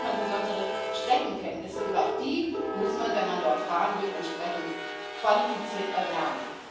Auch da braucht man besondere Streckenkenntnisse, und auch die muss man, wenn man dort fahren will, entsprechend qualifiziert erwerben.